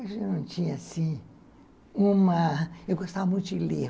Eu não tinha, assim, uma... Eu gostava muito de ler.